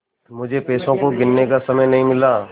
मुझे पैसों को गिनने का समय नहीं मिला